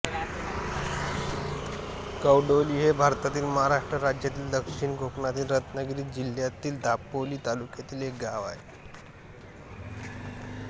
कवडोली हे भारतातील महाराष्ट्र राज्यातील दक्षिण कोकणातील रत्नागिरी जिल्ह्यातील दापोली तालुक्यातील एक गाव आहे